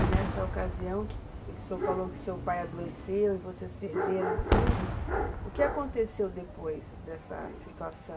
E nessa ocasião que o senhor falou que seu pai adoeceu e vocês perderam tudo, o que aconteceu depois dessa situação?